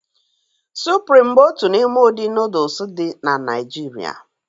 Sụprịm bụ otu n'ime ụdị nooduls dị na Naijiria